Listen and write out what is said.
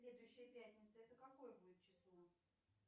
следующая пятница это какое будет число